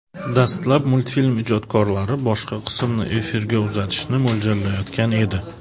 Dastlab multfilm ijodkorlari boshqa qismni efirga uzatishni mo‘ljallayotgan edi.